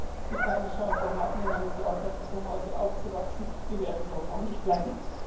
Denn Menschen, die keine Chance haben, in einem geordneten Zuhause aufzuwachsen, die werden dort auch nicht bleiben.